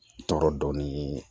Tɔɔrɔ dɔɔnin